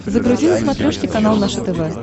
загрузи на смотрешке канал наше тв